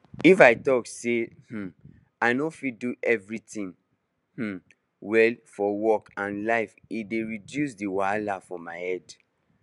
if i talk say um i no fit do everything um well for work and life e dey reduce the wahala for my head